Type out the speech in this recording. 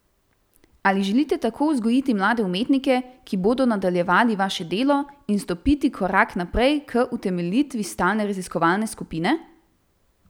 Ali želite tako vzgojiti mlade umetnike, ki bodo nadaljevali vaše delo, in stopiti korak naprej k utemeljitvi stalne raziskovalne skupine?